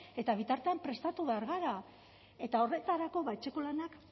eta bitartean prestatu behar gara eta horretarako etxeko lanak